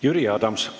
Jüri Adams.